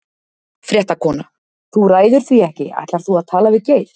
Fréttakona: Þú ræður því ekki, ætlar þú að tala við Geir?